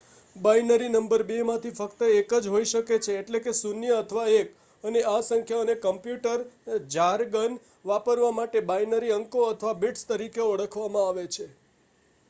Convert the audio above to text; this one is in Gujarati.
બાઇનરી નંબર બે માંથી ફક્ત એક જ હોય શકે છે એટલે કે 0 અથવા 1 અને આ સંખ્યાઓને કમ્પ્યૂટર જારગન વાપરવા માટે બાઇનરી અંકો અથવા બીટ્સ તરીકે ઓળખવામાં આવે છે